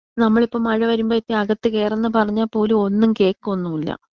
നമ്മളിപ്പോ മഴ വരുമ്പഴക്കും അകത്ത് കയറ് എന്ന് പറഞ്ഞാൽ പോലും ഒന്നും കേക്കൊന്നൂല.